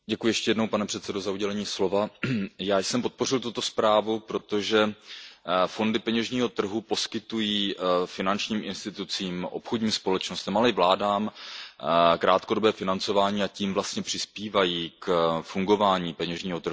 Pane předsedající, já jsem podpořil tuto zprávu, protože fondy peněžního trhu poskytují finančním institucím, obchodním společnostem, ale i vládám krátkodobé financování, a tím vlastně přispívají k fungování peněžního trhu.